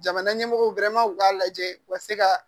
Jamana ɲɛmɔgɔw u k'a lajɛ u ka se ka